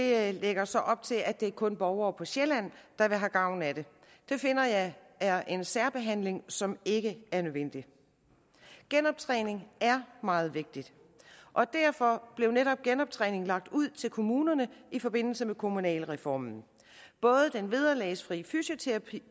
her lægger så op til at det kun er borgere på sjælland der vil have gavn af det det finder jeg er en særbehandling som ikke er nødvendig genoptræning er meget vigtigt og derfor blev netop genoptræningen lagt ud til kommunerne i forbindelse med kommunalreformen både den vederlagsfri fysioterapi